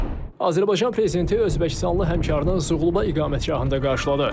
Azərbaycan Prezidenti Özbəkistanlı həmkarını Suqovuşa İqamətgahında qarşıladı.